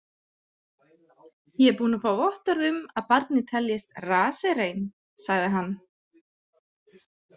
„Ég er búinn að fá vottorð um að barnið teljist“ raserein, „sagði hann.